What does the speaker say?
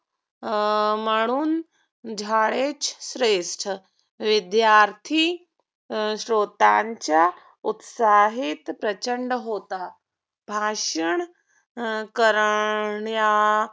अं म्हणून झाडेच श्रेष्ठ. विद्यार्थी अं श्रोत्यांच्या उत्साहीत प्रचंड होता. भाषण करण्या